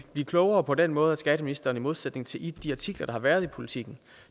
klogere på den måde at skatteministeren i modsætning til i de artikler der har været i politiken